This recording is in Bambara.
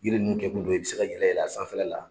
Yiri nunnu kɛ kun de ye i be se ka yɛlɛ yɛlɛ a sanfɛla la.